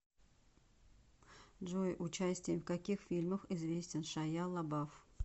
джой участием в каких фильмах известен шайя лабаф